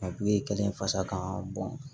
kelen fasa kan